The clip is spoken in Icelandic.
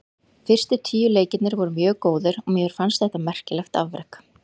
Fyrstu tíu leikirnir voru mjög góðir og mér fannst þetta merkilegt afrek.